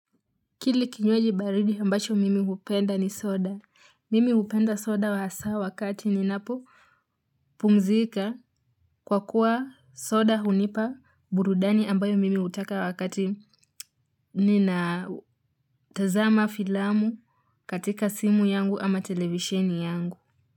Kile kinywaji baridi ambacho mimi hupenda ni soda. Mimi hupenda soda hasa wakati ninapopumzika kwa kuwa soda hunipa burudani ambayo mimi hutaka wakati ninatazama filamu katika simu yangu ama televisheni yangu.